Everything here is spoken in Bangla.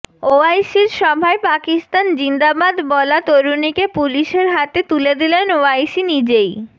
ওয়াইসির সভায় পাকিস্তান জিন্দাবাদ বলা তরুণীকে পুলিশের হাতে তুলে দিলেন ওয়াইসি নিজেই